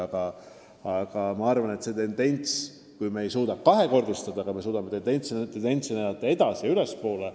Aga jah, me küll ei suuda seda raha kahekordistada, ent me saame hoida tendentsi, et need summad liiguvad ülespoole.